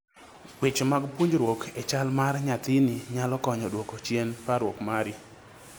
weche mag puonjruok e chal mar nyathini nyalo konyo duoko chien parruok mari